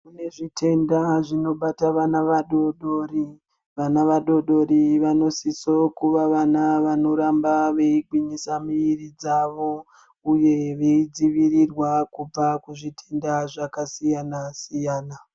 Kune zvitenda zvinobata vana vadodori vana vadodori vanosiso kuva vana vanoramba veigwinyisa mwiri dzavo uye veidzivirirwa kubva kuzvitenda zvakasiyana siyana .